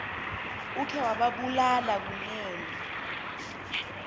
ukhe wababulala kunene